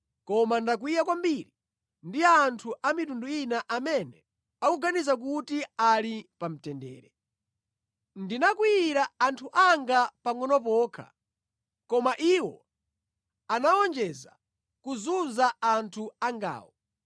koma ndakwiya kwambiri ndi anthu a mitundu ina amene akuganiza kuti ali pa mtendere. Ndinakwiyira anthu anga pangʼono pokha, koma iwo anawonjeza kuzunza anthu angawo.’